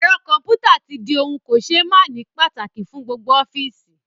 Ẹ̀rọ kọ̀ḿpútà tí di ohun kò ṣé máàní pàtàkì fún gbogbo ọ́fíìsì